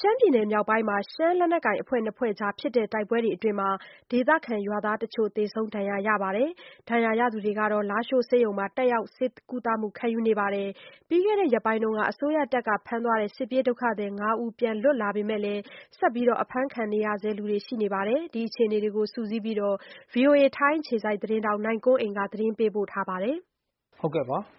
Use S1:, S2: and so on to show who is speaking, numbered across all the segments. S1: ရှမ်းပြည်နယ်မြောက်ပိုင်းမှာ ရှမ်းလက်နက်ကိုင်အဖွဲ့နှစ်ဖွဲ့ကြားဖြစ်တဲ့ တိုက်ပွဲအတွင်း ဒေသခံ ရွာသားတချို့ သေဆုံး ဒဏ်ရာရခဲ့ပါတယ်။ ဒဏ်ရာရသူတွေဟာ လားရှိုးဆေးရုံမှာ တက်ရောက် ဆေးကုသမှု ခံယူနေပါတယ်။ ပြီးခဲ့တဲ့ ရက် ပိုင်းမှာ အစိုးရတပ်က ဖမ်းသွားတဲ့ စစ်ပြေးဒုက္ခသည် ငါးဦး ပြန်လွတ်လာပေမယ့် ဆက်ပြီး အဖမ်းခံ ထားရသူတွေ ရှိနေဆဲပါ။ ဒီအခြေအနေတွေကို စုစည်းပြီး ဗွီအိုအေ ထိုင်းအခြေစိုက် သတင်းထောက် နိုင်ကွန်းအိန်က သတင်းပေးပို့ ထားပါတယ်။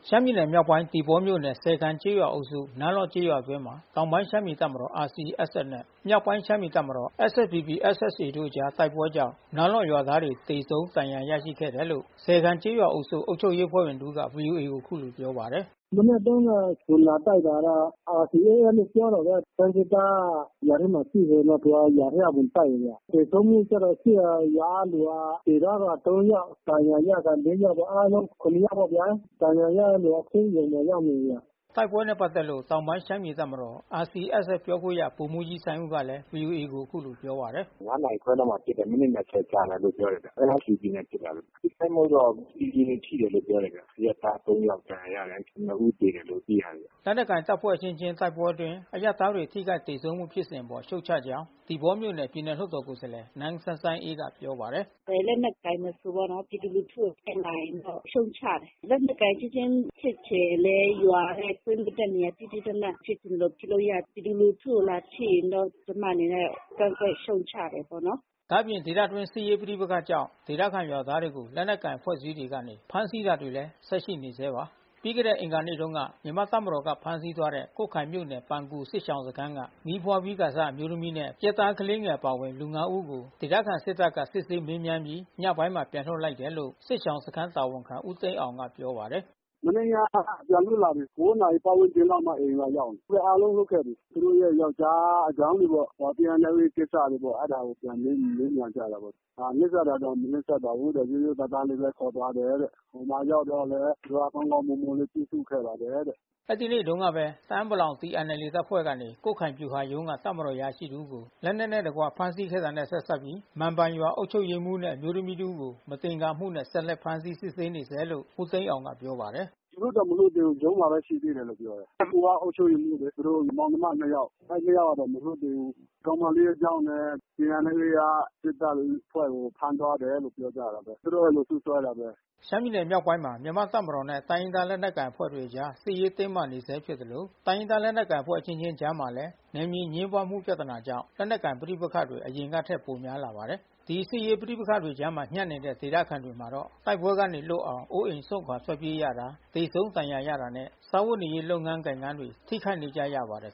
S1: ရှမ်းပြည်နယ်မြောက်ပိုင်း သီပေါမြို့နယ် စယ်ခန်ကျေးရွာအုပ်စု နားလော့ကျေးရွာအတွင်း တောင်ပိုင်း ရှမ်းပြည်တပ်မတော် RCSS နဲ့ မြောက်ပိုင်းရှမ်းပြည်တပ်မတော် SSPP/SSA တို့အကြား တိုက်ပွဲ ကြောင့် နားလော့ရွာသားတွေ သေဆုံးဒဏ်ရာရခဲ့ တယ်လို့ စယ်ခန်ကျေးရွာအုပ်စု အုပ်ချုပ်ရေး အဖွဲ့ဝင်တဦးက ဗွီအိုအေကိုအခုလို ပြော ပါတယ်။
S2: “မနက်တုန်းကတော့ ဝင်လာတိုက်တာကတော့ RCSS လို့ပြောတာပဲ။ ရှမ်းစစ်သား ရွာထဲမှာ ရှိနေတော့ သူကရွာထဲဝင်တိုက်တယ်ဗျ။ သေဆုံးမှုကျတော့ရှိတာ ရွာကလူကတော့ သေသွားတာ ယောက်။ ဒဏ်ရာ ရတာ ယောက်ပေါ့။ အားလုံး ယောက်ပေ့ါဗျာ။ ဒဏ်ရာရတဲ့သူတွေ ဆေးရုံရာက်နေပြီ။”
S1: ဒီတိုက်ပွဲနဲ့ပတ်သက်လို့ တောင်ပိုင်းရှမ်းပြည်တပ်မတော် RCSS ပြောခွင့်ရ ဗိုလ်မှူးကြီးစိုင်းဦး ကလည်း ဗွီအိုအေကို အခုလို ပြောပါတယ်။
S2: နာရီခွဲလောက်မှာဖြစ်တယ်။ မိနစ် ကြာတယ်လို့ပြောတယ်။ SSPP နဲ့ဖြစ်တာလို့။
S1: ပြည်သူတ
S2: ွေ ထိတယ်လို့တော့ ပြောတယ်။ အရပ်သား ယောက်ဒဏ်ရာရတယ်။ နှစ်ဦး သေတယ်လို့သိရတယ်ဗျ။
S1: ” လက်နက်ကိုင်တပ်ဖွဲ့အချင်းချင်း တိုက်ပွဲအတွင်း အရပ်သားတွေ ထိခိုက်သေဆုံးမှုဖြစ်စဉ်အပေါ် ရှုတ်ချကြောင်း သီပေါမြို့နယ် ပြည်နယ်လွှတ်တော်ကိုယ်စားလှယ် နန်းစမ်းစမ်းအေးက ပြောပါတယ်။ “ဘယ်
S2: လက်နက်ကိုင်မဆိုပေါ့နော်- ပြည်သူလူထုကိုထိခိုက်လာရင် ရှုတ်ချတယ်။ လက်နက်ကိုင် အချင်းချင်းဖြစ်ချင် ရင်လည်း ရွာထဲပေးမတက်နဲ့။ သီးသီးသန့်သန့် ဖြစ်ချင်သလိုဖြစ်လို့ရတယ်။ ပြည်သူလူထုကိုလာထိရင်တော့ ကျမအနေနဲ့ ကန့်ကွက်ရှုတ်ချတယ်ပေါ့နော်
S1: ။” ဒါ့အပြင် ဒေသအတွင်းစစ်ရေးပဋိပက္ခကြောင့် ဒေသခံရွာသားတွေကို လက်နက်ကိုင်အဖွဲ့အစည်းတွေက ဖမ်းဆီးတာတွေလည်း ဆက်ရှိနေဆဲပါ။ ပြီးခဲ့တဲ့အင်္ဂါနေ့တုန်းက မြန်မာ့တပ်မတော်ကနေဖမ်းဆီးသွားတဲ့ ကွတ်ခိုင်မြို့နယ် ပန်ကူစစ်ရှောင်စခန်းက မီး ဖွားပြီးစ အမျိုးသမီးနဲ့ ရက်သားကလေးငယ်အပါအဝင် လူ ၅ ဦးကို ဒေသခံစစ်တပ်က စစ်ဆေးမေးမြန်းပြီး ညပိုင်းမှာ ပြန်လွှတ်ပေးလိုက်တယ်လို့ စစ်ရှောင်စခန်းတာဝန်ခံ ဦးသိန်းအောင်ကပြောပါတယ်။
S2: “မနေ့ညကပြန်လွတ်လာပြီ။ နာရီပတ်ဝန်းကျင်လောက်မှအိမ်ကိုရောက်တယ်။ သူတို့အားလုံးလွတ်ခဲ့ပြီ။ သူတို့ ရဲ့ယောကျ်ားအကြောင်းတွေပေါ့။ TNLA ကိစ္စတွေပေါ့။ အဲဒါတွေပြန်မေးမြန်းကြတာပေါ့။ နှိပ်စက်တာတော့ မနှိပ် စက်ပါဘူးတဲ့။ ရိုးရိုးသားသားလေးပဲ ခေါ်သွားတယ်တဲ့။ ဟိုမှာရောက်တော့လည်း သူတို့က ကောင်းကောင်းမွန်မွန် လေး ပြု
S1: စုခဲ့ပါတယ်တဲ့။” အဲဒီနေ့တုန်းကပဲ တအာင်းပလောင် TNLA တပ်ဖွဲ့ကနေ ကွတ်ခိုင်ဗျူဟာရုံးက တပ်မတော်အရာရှိတဦးကို လက်နက်နဲ့တကွ ဖမ်းဆီးခဲ့တာနဲ့ ဆက်စပ်ပြီး မန်ပန်ရွာအုပ်ချုုပ်ရေးမှူးနဲ့ အမျိုးသမီးတဦးကို မသင်္ကာမှုနဲ့ ဆက်လက် ဖမ်းဆီးစစ်ဆေးနေဆဲလို့ ဦးသိန်းအောင်ကပြောပါတယ်။ “လွတ်တော့မလ
S2: ွတ်သေးဘူး။ ရုံးမှာရှိသေးတယ်လို့ ပြောတယ်။ အကိုကအုပ်ချုပ်ရေးမှူးလေ။ သူတို့ မောင်နှမနှစ် ယောက် အဲဒီနှစ်ယောက်ကတော့မလွတ်သေးဘူး။ ကောင်မလေးကြောင့်လည်း TNLA က စစ်တပ်အဖွဲ့ကို ဖမ်းသွားတာပဲလို့ ပြောကြတာပဲ။ သူတို့ကနေ စွပ်စွဲတာပဲ။
S1: ” ရှမ်းပြည်နယ်မြောက်ပိုင်းမှာ မြန်မာ့တပ်မတော်နဲ့တိုင်းရင်းသားလက်နက်ကိုင်အဖွဲ့တွေကြား စစ်ရေး တင်းမာနေ ဆဲ ဖြစ်သလို တိုင်းရင်းသားလက်နက်ကိုင်အဖွဲ့ အချင်းချင်းကြားမှာလည်း နယ်မြေအငြင်းပွါးမှုပြဿနာကြောင့် လက်နက်ကိုင်ပဋိပက္ခတွေ အရင်ကထက် ပိုများလာပါတယ်။ ဒီစစ်ရေးပဋိပက္ခတွေကြားမှာ ညပ်နေတဲ့ ဒေသခံတွေမှာတော့ တိုက်ပွဲတွေကနေလွတ်အောင် အိုးအိမ်စွန်ခွါ ထွက် ပြေးရတာ၊ သေဆုံး ဒဏ်ရာရတာနဲ့ စားဝတ်နေရေး လုပ်ငန်းကိုင်ငန်းတွေ ထိခိုက်နေကြရပါတယ်